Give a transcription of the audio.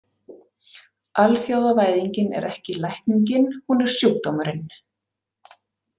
Alþjóðavæðingin er ekki lækningin, hún er sjúkdómurinn.